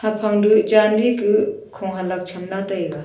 phang du chandi kuh kho halak cham lah taega.